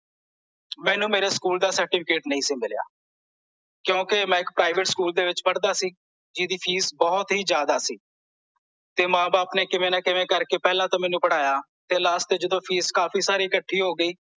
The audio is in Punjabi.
ਮੈਨੂੰ ਮੇਰੇ ਸਕੂਲ ਦਾ certificate ਨਹੀਂ ਸੀ ਮਿਲਿਆ ਕਿਂਓਕੀ ਮੈਂ ਇੱਕ private ਸਕੂਲ ਦੇ ਵਿੱਚ ਪੜ੍ਹਦਾ ਸੀ ਜਿਹਦੀ ਫੀਸ ਬਹੁਤ ਹੀ ਜਿਆਦਾ ਸੀ ਤੇ ਮਾਂ ਬਾਪ ਨੇ ਕਿਵੇ ਨਾਂ ਕਿਵੇ ਕਰਕੇ ਪਹਿਲਾਂ ਤਾਂ ਮੈਨੂੰ ਪੜ੍ਹਾਇਆ ਤੇ last ਚ ਜਦੋਂ ਫੀਸ ਕਾਂਡੀ ਸਾਰੀ ਇਕਠੀ ਹੋ ਗਈ